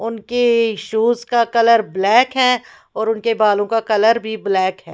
उनके शूज का colour black है और उनके बालों का कलर भी ब्लैक है।